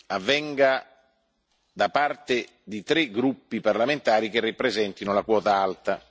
avvenga da parte di tre gruppi parlamentari che rappresentino la quota alta.